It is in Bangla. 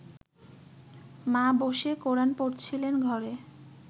মা বসে কোরান পড়ছিলেন ঘরে